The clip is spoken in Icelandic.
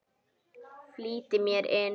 Flýtti mér inn.